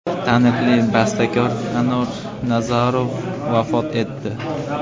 Taniqli bastakor Anor Nazarov vafot etdi.